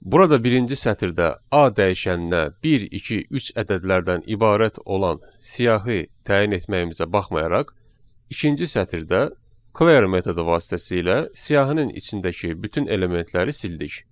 Burada birinci sətirdə A dəyişəninə 1, 2, 3 ədədlərdən ibarət olan siyahı təyin etməyimizə baxmayaraq, ikinci sətirdə clear metodu vasitəsilə siyahının içindəki bütün elementləri sildik.